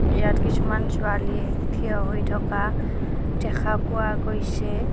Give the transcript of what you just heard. ইয়াত কিছুমান ছোৱালীয়ে থিয় হৈ থকা দেখা পোৱা গৈছে।